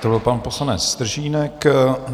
To byl pan poslanec Stržínek.